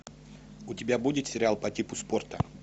у тебя будет сериал по типу спорта